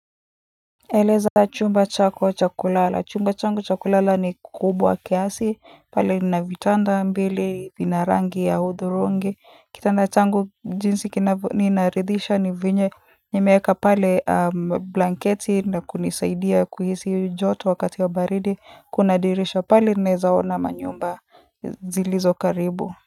Eleza chumba chako cha kulala. Chumba changu cha kulala ni kubwa kiasi pale nina vitanda mbili vina rangi ya hudhurungi kitanda changu jinsi ninaridhisha ni venye nimeweka pale blanketi na kunisaidia kuhisi joto wakati wa baridi kuna dirisha pale ninaweza ona manyumba zilizo karibu.